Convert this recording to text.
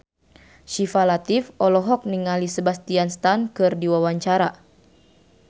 Syifa Latief olohok ningali Sebastian Stan keur diwawancara